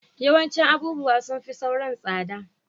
Yawancin abubuwa sun fi sauran tsada